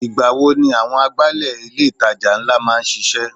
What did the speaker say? Ìgbà wo ni àwọn agbálẹ̀ ilé itàjà ńlá máa ń sise?